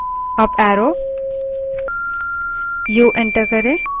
u enter करें